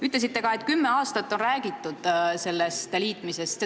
Ütlesite ka, et sellest liitmisest on kümme aastat räägitud.